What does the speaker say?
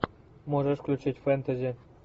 можешь включить фэнтези